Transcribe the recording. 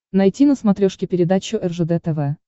найти на смотрешке передачу ржд тв